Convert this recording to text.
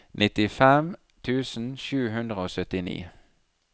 nittifem tusen sju hundre og syttini